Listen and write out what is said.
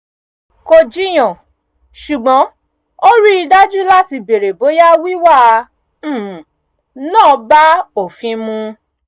kò jiyàn ṣùgbọ́n ó rí i dájú láti bèrè bóyá wíwá um náà bá òfin mu